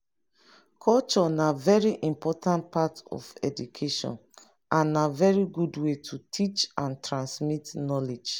culture na very important part of education and na very good way to teach and transmit knowledge